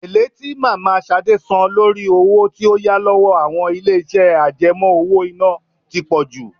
Èlé tí mama Ṣadé san lórí owó tí ó yá lọ́wọ́ àwọn ilé iṣẹ́ àjẹmó-owó-iná tí pọ jù.